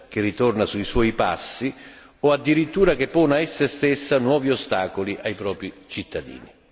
che ritorna sui suoi passi o addirittura che pone ad essa stessa nuovi ostacoli ai propri cittadini.